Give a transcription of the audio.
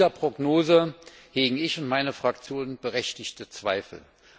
An dieser Prognose hegen ich und meine Fraktion berechtigte Zweifel.